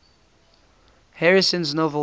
harrison's novel true